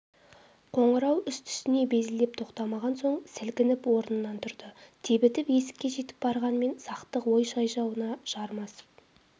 қоңырау үсті-үстіне безілдеп тоқтамаған соң сілкініп орнынан тұрды тебітіп есікке жетіп барғанмен сақтық ой шаужайына жармасып